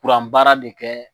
Kuranbaara de kɛ.